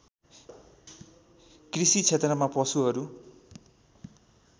कृषि क्षेत्रमा पशुहरू